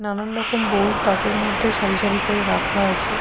নানারকম বই তাকের মধ্যে সারি সারি করে রাখা আছে।